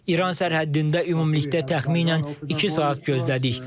İran sərhəddində ümumilikdə təxminən iki saat gözlədik.